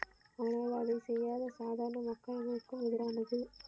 ஆனால் அதை செய்யாத சாதாரண மக்களுக்கும் எதிரானது.